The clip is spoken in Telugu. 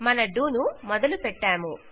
మన డో ను మొదలు పెట్టాము